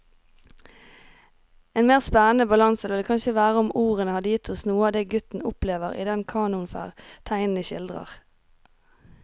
En mer spennende balanse ville det kanskje vært om ordene hadde gitt oss noe av det gutten opplever i den kanoferd tegneren skildrer.